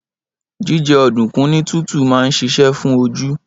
Jíjẹ ọ̀dùnkún ní tútù máa ń ṣiṣẹ́ fún oju